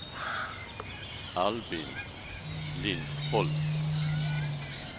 Albin Lindholm